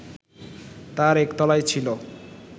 তার একতলায় ছিল